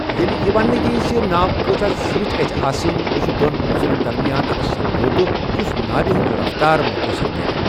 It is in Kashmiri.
ییٚلہِ یہِ ونٛنہٕ یِیہِ زِ ناو کۭژاہ زیٹھۍ گژھہِ آسٕنۍ، یہِ چھُ دۄن عُنصرَن درمیان اکھ سمجوتٕہ یُس ناوِ ہٕنٛز رفتار متٲثِر کرِ۔